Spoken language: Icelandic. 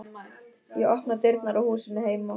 Ég opna dyrnar á húsinu heima.